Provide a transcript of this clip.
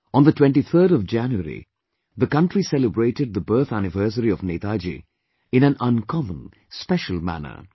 On the 23rd of January, the country celebrated the birth anniversary of Netaji in an uncommon, special manner